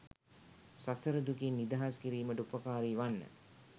සසර දුකින් නිදහස් කිරීමට උපකාරී වන්න.